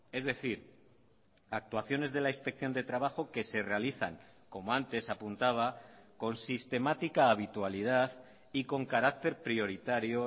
es decir actuaciones de la inspección de trabajo que se realizan como antes apuntaba con sistemática habitualidad y con carácter prioritario